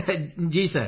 ਹਾਂ ਸਰ